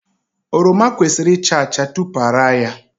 Oroma kwesịrị ịcha acha tupu ara ya.